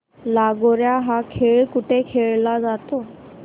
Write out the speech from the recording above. लगोर्या हा खेळ कुठे खेळला जातो